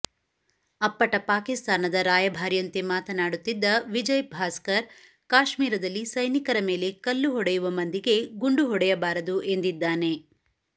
ಅಪ್ಪಟ ಪಾಕಿಸ್ತಾನದ ರಾಯಭಾರಿಯಂತೆ ಮಾತನಾಡುತ್ತಿದ್ದ ವಿಜಯ್ ಭಾಸ್ಕರ್ ಕಾಶ್ಮೀರದಲ್ಲಿ ಸೈನಿಕರ ಮೇಲೆ ಕಲ್ಲು ಹೊಡೆಯುವ ಮಂದಿಗೆ ಗುಂಡು ಹೊಡೆಯಬಾರದು ಎಂದಿದ್ದಾನೆ